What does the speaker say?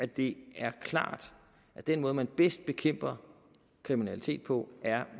det er klart at den måde man bedst bekæmper kriminalitet på er